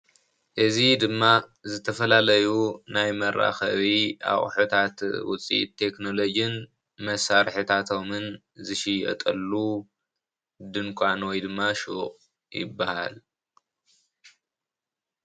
እዚ ድማ ዝተፈላለዩ ናይ መራኸቢ ኣቑሑታት ውፅኢት ቴክኖሎጅን መሳርሒታቶምን ዝሽየጠሉ ድንኳን ወይ ድማ ሹቕ ይበሃል።